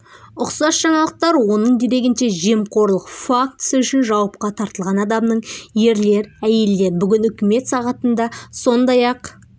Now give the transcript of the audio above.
ұқсас жаңалықтар оның дерегінше жемқорлық фактісі үшін жауапқа тартылған адамның ерлер әйелдер бүгін үкімет сағатында сондай-ақ